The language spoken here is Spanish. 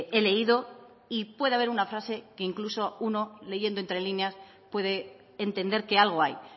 he leído y puede haber una frase que incluso uno leyendo entre líneas puede entender que algo hay